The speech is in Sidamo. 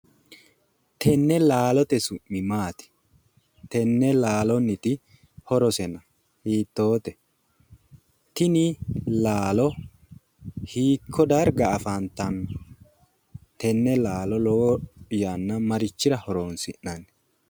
Tenne laaloote su'mi maati tenne laalonniti horosena hiittoote tini laalo hiikko darga afantanno tenne laalo lowo yanna marichira horonsi'nanni?